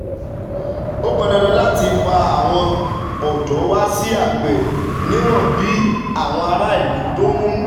Ó pọn dandan láti fa àwọn ọ̀dọ́ wá sí àgbẹ̀ níwọ̀n bí àwọn aráàlú tó ń